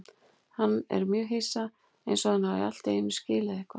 Hann er mjög hissa, einsog hann hafi allt í einu skilið eitthvað.